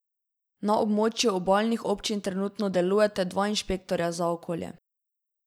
Na območju obalnih občin trenutno delujeta delujeta dva inšpektorja za okolje.